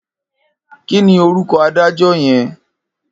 Kini órúkò ádàjò yèn?